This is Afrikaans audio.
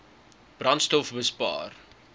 brandstofbespaar